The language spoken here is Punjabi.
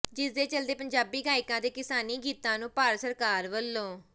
ਜਿਸਦੇ ਚੱਲਦੇ ਪੰਜਾਬੀ ਗਾਇਕਾਂ ਦੇ ਕਿਸਾਨੀ ਗੀਤਾਂ ਨੂੰ ਭਾਰਤ ਸਰਕਾਰ ਵੱਲੋਂ